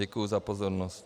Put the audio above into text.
Děkuji za pozornost.